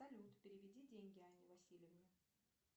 салют переведи деньги анне васильевне